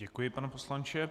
Děkuji, pane poslanče.